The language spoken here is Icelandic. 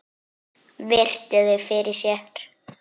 Virti þau fyrir sér.